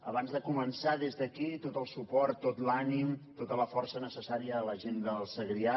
abans de començar des d’aquí tot el suport tot l’ànim tota la força necessària a la gent del segrià